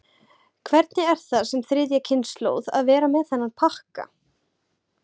Hvernig er það sem þriðja kynslóð að vera með þennan pakka?